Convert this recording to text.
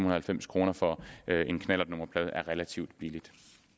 og halvfems kroner for en knallertnummerplade er relativt billigt